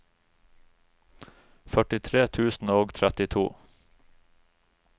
førtitre tusen og trettito